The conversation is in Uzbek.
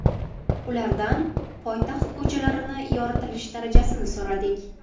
Ulardan poytaxt ko‘chalarini yoritilish darajasini so‘radik.